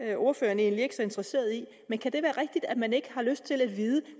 er ordføreren egentlig ikke så interesseret i men kan det være rigtigt at man ikke har lyst til at vide